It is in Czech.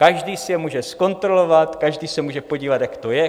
Každý si je může zkontrolovat, každý se může podívat, jak to je.